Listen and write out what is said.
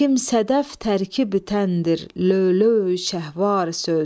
Kim sədəf tərkibütəndir löv-lövi şəhvvar söz.